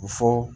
U fɔ